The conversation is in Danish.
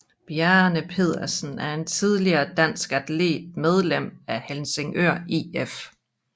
Bjarne Pedersen er en tidligere dansk atlet medlem af Helsingør IF